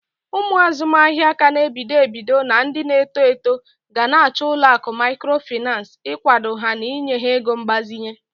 Ụmụ azụmahịa ka n'ebido ebido na ndi na-eto eto gana achọ ụlọakụ mikrofinas igwado ha n'inye ha ego mgbazinye.